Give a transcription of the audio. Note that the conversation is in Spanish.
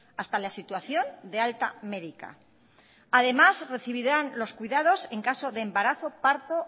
hasta la situación de alta medica además recibirán los cuidados en caso de embarazo parto